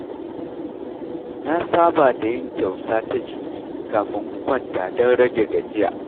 Na saba da yin tausa ta jiki kafin in kwanta don rage gajiya.